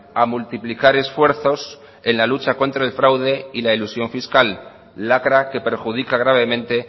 a multiplicar esfuerzos en la lucha contra el fraude y la elusión fiscal lacra que perjudica gravemente